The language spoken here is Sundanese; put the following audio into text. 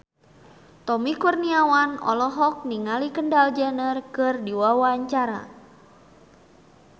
Tommy Kurniawan olohok ningali Kendall Jenner keur diwawancara